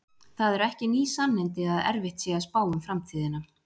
það eru ekki ný sannindi að erfitt sé að spá um framtíðina